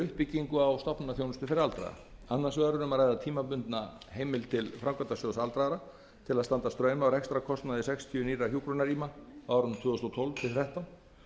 uppbyggingu á stofnanaþjónustu fyrir aldraða annars vegar er um að ræða tímabundna heimild til framkvæmdasjóðs aldraðra til að standa straum af rekstrarkostnaði sextíu nýrra hjúkrunarrýma árin tvö þúsund og tólf til tvö þúsund og þrettán